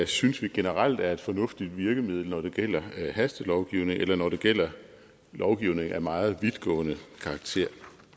synes vi generelt er et fornuftigt virkemiddel når det gælder hastelovgivning eller når det gælder lovgivning af meget vidtgående karakter